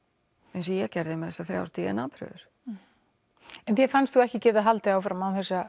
eins og ég gerði með þessar þrjár d n a prufur en þér fannst þú ekki geta haldið áfram án þess að